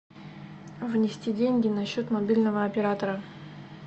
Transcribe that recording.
внести деньги на счет мобильного оператора